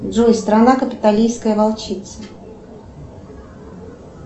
джой страна капитолийская волчица